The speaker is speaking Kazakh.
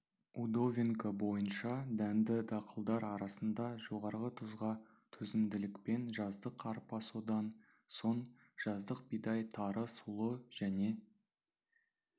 удовенко бойынша дәнді дақылдар арасында жоғарғы тұзға төзімділікпен жаздық арпа содан соң жаздық бидай тары сұлы және